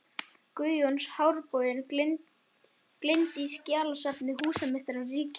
Guðjóns af háborginni er geymd í skjalasafni húsameistara ríkisins.